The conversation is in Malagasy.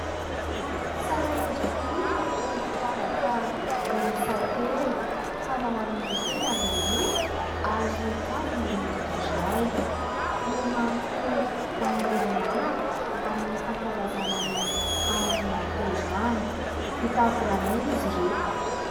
Tsara endrika ery ireto firavaka miisa telo. Fanao amin'ny tenda ny roa ary kavina ny iray. Nomanko ho an'ilay namako amin'ny fankalazany andro naterahany. Vita volamena izy ireto.